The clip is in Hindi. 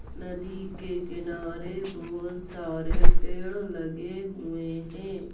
नदी के किनारे बहुत सारे पेड़ लगे हुए है।